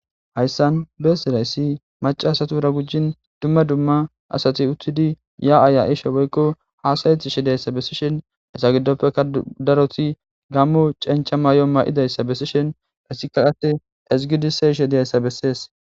Hayssan besizaysi macca asatura gujjin dumma dumma asati uttidi ya'a ya'ishe woykko hasa'etishe diyayssa besishin iza giddopeka daroti gammo cenchcha mayo ma'idaysa beesishin esikka hate ezgidi siyishe diyayssa besees.